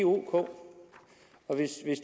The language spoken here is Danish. ok og hvis